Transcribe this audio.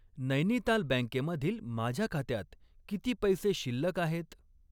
नैनिताल बँके मधील माझ्या खात्यात किती पैसे शिल्लक आहेत?